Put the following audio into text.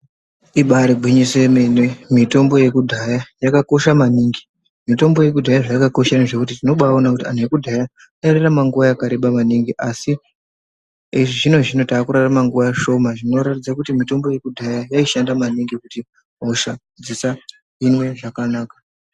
Ibarigwinyiso yemene, mitombo yakudhaya yakakosha maningi. Mitombo yakudhaya zvayakakoshera ngezvekuti vantu vekudhaya vairarama nguva yakareba maningi. Asi echizvino-zvino takurarama nguva shoma. Zvinoratidza kuti mitombo yakudhaya yaishanda maningi kuti hosha dzisahinwe zvakanaka.